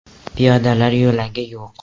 Piyodalar yo‘lagi yo‘q.